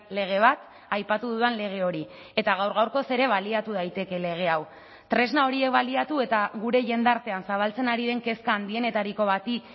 lege bat aipatu dudan lege hori eta gaur gaurkoz ere baliatu daiteke lege hau tresna horiek baliatu eta gure jendartean zabaltzen ari den kezka handienetariko bati